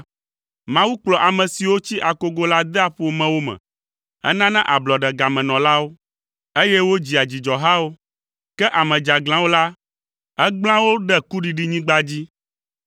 Mawu kplɔa ame siwo tsi akogo la dea ƒomewo me, enana ablɔɖe gamenɔlawo, eye wodzia dzidzɔhawo. Ke ame dzeaglãwo la, egblẽa wo ɖe kuɖiɖinyigba dzi.